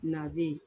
Na den